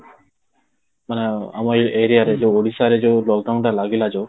ମାନେ ଆମ areaରେ ଯୋଉ ଯୋଉ ଓଡିଶାରେ ଯୋଉ lockdown ଟା ଲାଗିଲା ଯୋଉ